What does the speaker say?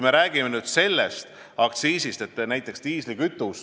Räägime diislikütuseaktsiisist.